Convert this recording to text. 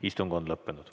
Istung on lõppenud.